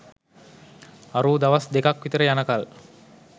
අරූ දවස් දෙකක් විතර යනකල්